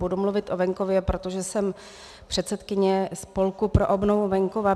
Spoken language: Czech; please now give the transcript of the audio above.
Budu mluvit o venkově, protože jsem předsedkyně Spolku pro obnovu venkova.